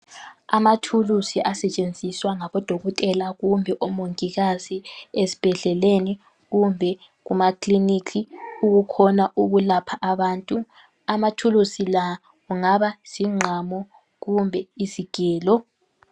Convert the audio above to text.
Amathulusi asetshenziswa ngabo Dokotela kumbe oMongikazi ezibhedleleni kumbe ema clinic ukukhona ukulapha abantu. Amathulusi la kungaba zingqamu kumbe izigelo.